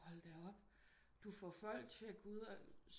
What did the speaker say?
Hold da op du får folk til at gå ud og